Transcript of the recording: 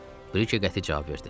Brike qəti cavab verdi.